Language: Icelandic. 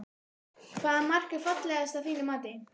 Hvaða mark er fallegast að þínu mati?